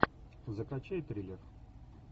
закачай триллер